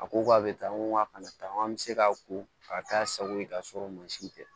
A ko k'a bɛ tan ko a kana taa n bɛ se k'a ko k'a k'a sago ye k'a sɔrɔ mansin tɛ